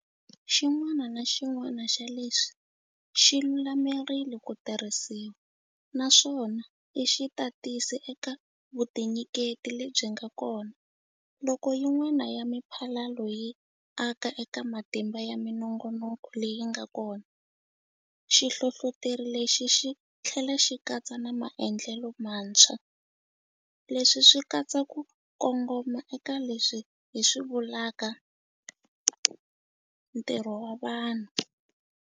Xin'wana na xin'wana xa leswi xi lulamerile ku tirhisiwa, naswona i xitatisi eka vutinyiketi lebyi nga kona. Loko yin'wana ya miphalalo yi aka eka matimba ya minongonoko leyi nga kona, xi hlohloteri lexi xi tlhela xi katsa na maendlelo mantshwa. Leswi swi katsa ku kongoma eka leswi hi swi vulaka 'ntirho wa vanhu'.